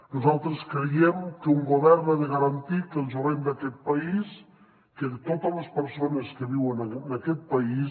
nosaltres creiem que un govern ha de garantir que el jovent d’aquest país que totes les persones que viuen en aquest país